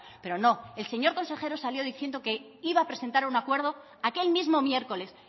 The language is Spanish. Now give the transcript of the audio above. pero no el señor consejero salió diciendo que iba a presentar un acuerdo aquel mismo miércoles